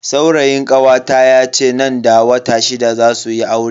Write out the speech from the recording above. Saurayin kawata yace nan da wata shida zasu yi aure.